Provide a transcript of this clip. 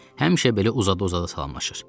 Həmişə belə uzada-uzada salamlaşırdı.